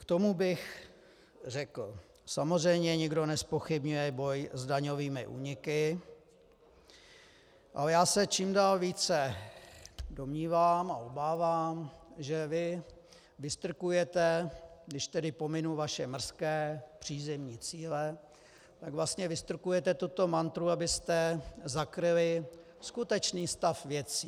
K tomu bych řekl, samozřejmě nikdo nezpochybňuje boj s daňovými úniky, ale já se čím dál více domnívám a obávám, že vy vystrkujete, když tedy pominu vaše mrzké přízemní cíle, tak vlastně vystrkujete tuto mantru, abyste zakryli skutečný stav věcí.